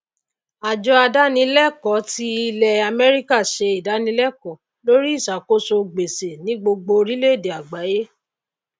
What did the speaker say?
àjọ adánilèkó ti ilè àméríkà se ìdánilákò lóri ìsàkóso gbèsè ní gbogbo orílè èdè àgbáyé